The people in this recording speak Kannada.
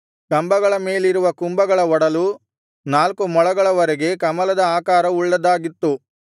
ಕಂಬಗಳ ಮೇಲಿರುವ ಕುಂಭಗಳ ಒಡಲು ನಾಲ್ಕು ಮೊಳಗಳವರೆಗೆ ಕಮಲದ ಆಕಾರ ಉಳ್ಳದ್ದಾಗಿತ್ತು